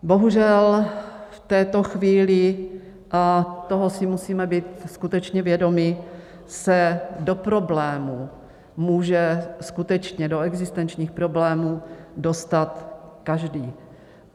Bohužel v této chvíli, a toho si musíme být skutečně vědomi, se do problémů může skutečně, do existenčních problémů, dostat každý.